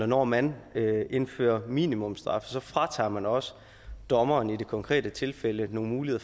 når man indfører minimumsstraffe fratager man også dommeren i det konkrete tilfælde nogle muligheder